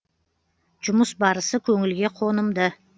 жұмыс барысы көңілге қонымды